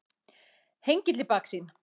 Hengill í baksýn.